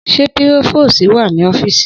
Sẹ pirofosí wà ní ọfísì?